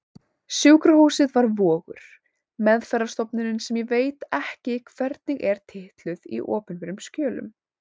Sjúkrahúsið var Vogur, meðferðarstofnunin sem ég veit ekki hvernig er titluð í opinberum skjölum.